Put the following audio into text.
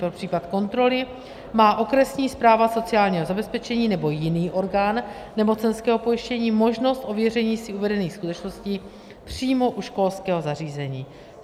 Pro případ kontroly má okresní správa sociálního zabezpečení nebo jiný orgán nemocenského pojištění možnost ověření si uvedených skutečností přímo u školského zařízení.